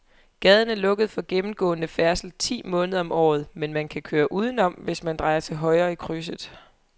Gaden er lukket for gennemgående færdsel ti måneder om året, men man kan køre udenom, hvis man drejer til højre i krydset.